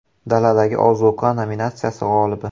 Daladagi ozuqa nominatsiyasi g‘olibi.